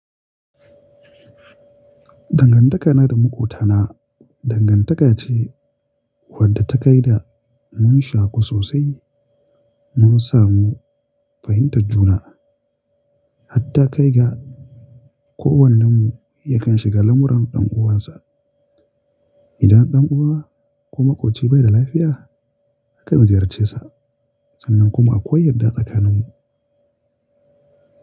Dangantakana da makotana dangantaka ce wadda ta kai da mun shaku sosai. Mun samu fahimtar juna, har ta kai ga kowannenmu yakan shiga lamuran ɗan'uwansa. Idan ɗan uwa ko makoci bai da lafiya, akan ziyarcesa. Sannan kuma akwai yarda tsakaninmu.